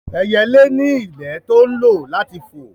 Ẹyẹlé ní ìyẹ́ tó ń lò láti fò